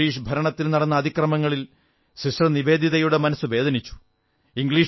British ഭരണത്തിൽ നടന്ന അതിക്രമങ്ങളിൽ സിസ്റ്റർ നിവേദിതയുടെ മനസ്സു വേദനിച്ചു